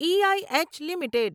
e I H limited